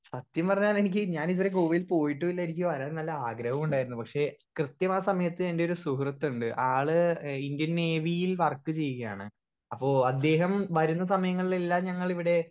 speaker 1 സത്യം പറഞ്ഞാൽ എനിക്ക് ഞാൻ ഇതുവരെ ഗോവയിൽ പോയിട്ടൂള്ള എനിക്ക് വരാൻ നല്ല അഗ്രഹോണ്ടായിരുന്നു പക്ഷെ കൃത്യം ആ സമയത്ത് എന്റൊരു സുഹൃത്ത്ണ്ട് ആൾ ഇന്ത്യൻ നേവിയിൽ വർക്ക് ചെയുക്കയാണ് അപ്പൊ അദ്ദേഹം വരുന്ന സമയങ്ങളിൽ എല്ലാം ഞങ്ങളിവിടെ